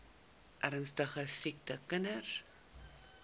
ernstige siek kinders